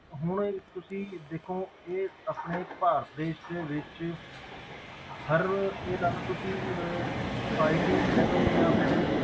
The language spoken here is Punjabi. ਹੁਣ ਇਹ ਤੁਸੀਂ ਦੇਖੋ ਇਹ ਆਪਣੇ ਭਾਰਤ ਦੇਸ ਦੇ ਵਿੱਚ ਹਰ ਰੋਜ਼ ਇਹ ਲਾ ਲਓ ਤੁਸੀਂ ਅਹ society ਕਹਿ ਦਓ ਜਾਂ ਫਿਰ